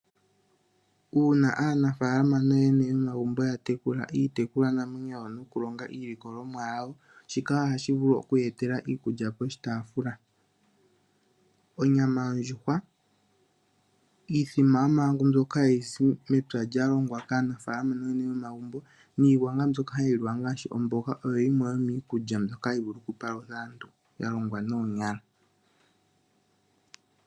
Uuna aanafalama nooyene yomagumbo ya tekula iitekulwanamwenyo yawo nokulonga iilikolomwa yawo, shika ohashi vulu oku ya etela iikulya poshitafula. Onyama yondjuhwa, iithima mbyoka hayi zi mepya lya longwa kaanafalama nooyene yomagumbo niigwanga mbyoka hayi liwa ngaashi omboga, oyo yimwe yomiikulya mbyoka hayi palutha aantu, ya longwa noonyala.